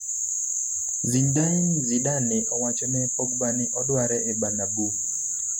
Zinedine zidane owacho ne Pogba ni odware e Bernabeu